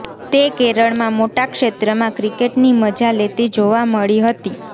તે કેરળમાં મોટા ક્ષેત્રમાં ક્રિકેટની મજા લેતી જોવા મળી હતી